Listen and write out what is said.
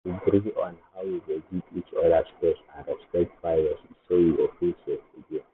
we agree on how we go give each other space and respect privacy so we go feel safe again.